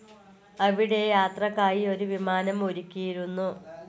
അവിടെ യാത്രക്കായി ഒരു വിമാനം ഒരുക്കിയിരുന്നു.